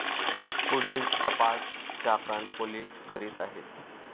पुढील तपास चाकण पोलीस करीत आहेत.